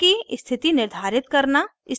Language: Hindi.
bonds की स्थिति निर्धारित करना